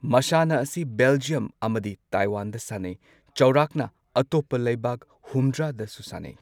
ꯃꯁꯥꯟꯅ ꯑꯁꯤ ꯕꯦꯜꯖ꯭ꯌꯝ ꯑꯃꯗꯤ ꯇꯥꯏꯋꯥꯟꯗ ꯁꯥꯟꯅꯩ꯫ ꯆꯥꯎꯔꯥꯛꯅ ꯑꯇꯣꯞꯄ ꯂꯩꯕꯥꯛ ꯍꯨꯝꯗ꯭ꯔꯥꯗꯁꯨ ꯁꯥꯟꯅꯩ꯫